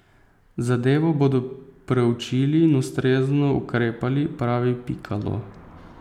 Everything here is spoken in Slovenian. Zadevo bodo preučili in ustrezno ukrepali, pravi Pikalo.